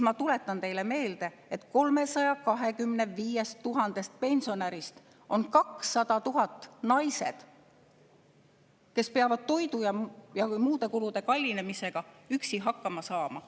Ma tuletan teile meelde, et 325 000 pensionärist on 200 000 naised, kes peavad toidu ja muude kulude kallinemisega üksi hakkama saama.